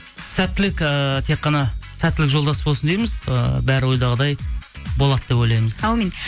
сәттілік ііі тек қана сәттілік жолдас болсын дейміз ыыы бәрі ойдағыдай болады деп ойлаймыз әумин